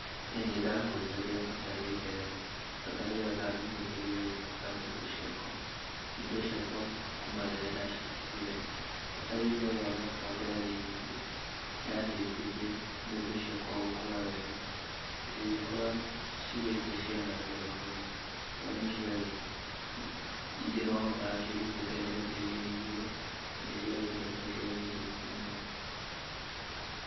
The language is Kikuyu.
ĩĩ nĩndahũthĩrire bataraitha ĩyo, bataraitha ĩyo ndamĩhũthĩrire gwĩkĩra mbembe ciakwa, mbembe ciakwa kuma hĩndĩ ĩrĩa ndaciĩkĩrire, bataraitha ĩyo onakorwo ndĩarĩ nyingĩ nĩyateithirie mbembe ciakwa gũkũra wega na cigĩkũra cigĩte ciana njega mũno, tondũ ingĩ nĩwakorire cirutĩte mbembe igĩrĩ igĩrĩ, nanĩ ciarĩ mbembe ciarĩ ndungu mũno.